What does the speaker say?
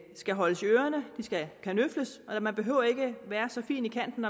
skal holdes i ørerne de skal kanøfles og man behøver ikke være så fin i kanten